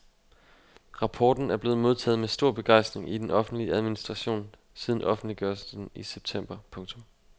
Rapporten er blevet modtaget med stor begejstring i den offentlige administration siden offentliggørelsen i september. punktum